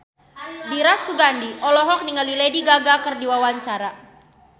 Dira Sugandi olohok ningali Lady Gaga keur diwawancara